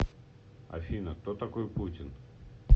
афина кто такой путин